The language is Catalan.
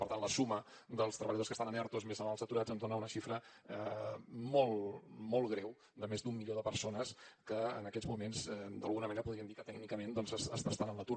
per tant la suma dels treballadors que estan en ertos més els aturats ens dona una xifra molt molt greu de més d’un milió de persones que en aquests moments d’alguna manera podríem dir que tècnicament doncs estan en l’atur